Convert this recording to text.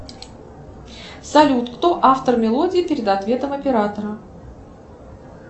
салют кто автор мелодии перед ответом оператора